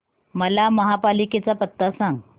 मला महापालिकेचा पत्ता सांग